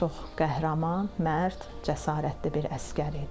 Çox qəhrəman, mərd, cəsarətli bir əsgər idi.